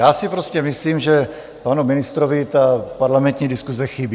Já si prostě myslím, že panu ministrovi ta parlamentní diskuze chybí.